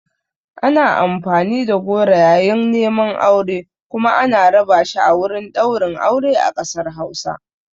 Ana amfani da goro yayin neman aure kuma ana raba shi a wurin ɗaurin aure a ƙasar Hausa.